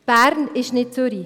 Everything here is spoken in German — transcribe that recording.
Bern ist nicht Zürich.